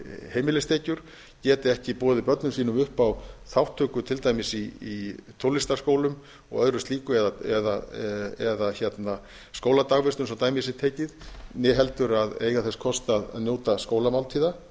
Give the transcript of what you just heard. heimilistekjur geti ekki boðið börnum sínum upp á þátttöku til dæmis í tónlistarskólum og öðru slíku eða skóladagvistun svo dæmi sé tekið né heldur að eiga þess kost að njóta skólamáltíða